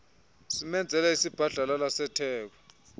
simenzele isibhadlalala setheko